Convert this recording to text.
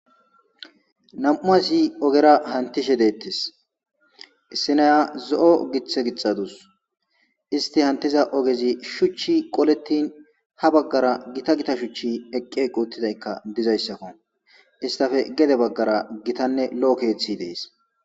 nam7u asi ogera hantishe deettes issinaya zo7o githe gixadus isti hantiza ogezi shuchchi qolettin ha baggara gita gita shuchchi eqqe quuttidaykka dizayssakko istafe gede baggara gitanne lo7o keeththi dees